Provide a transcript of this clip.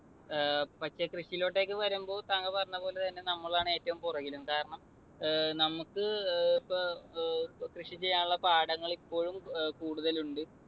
ആഹ് പക്ഷെ കൃഷിയിലോട്ടേക്ക് വരുമ്പോൾ താങ്കൾ പറഞ്ഞതുപോലെ തന്നെ നമ്മളാണ് ഏറ്റവും പുറകില്. കാരണം ഏർ നമുക്ക് അഹ് കൃഷി ചെയ്യാനുള്ള പാടങ്ങൾ ഇപ്പോഴും ഏർ കൂടുതലുണ്ട്.